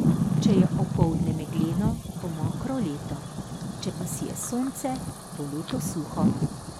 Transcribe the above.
Če je opoldne megleno, bo mokro leto, če pa sije sonce, bo leto suho.